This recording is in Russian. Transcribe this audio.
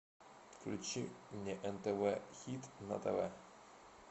включи мне нтв хит на тв